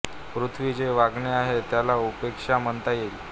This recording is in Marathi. पृथ्वी जे वागणे आहे त्याला उपेक्षा म्हणता येईल